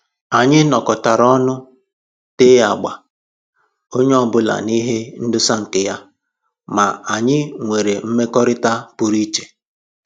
Anyị nọkọtara ọnụ tee agba, onye ọbụla na ihe ndosa nke ya, ma anyị nwere mmekọrịta pụrụ iche